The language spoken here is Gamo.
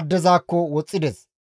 addezakko woxxides.